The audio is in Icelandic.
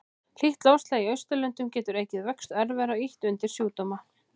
Hlýtt loftslag í Austurlöndum getur aukið vöxt örvera og ýtt undir sjúkdóma.